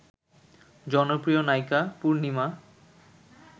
জনপ্রিয় নায়িকা পূর্ণিমা